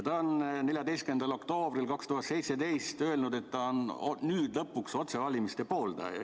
Ta on 14. oktoobril 2017 öelnud, et ta on nüüd lõpuks otsevalimise pooldaja.